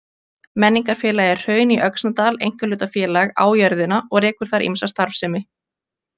Menningarfélagið Hraun í Öxnadal einkahlutafélag á jörðina og rekur þar ýmsa starfsemi.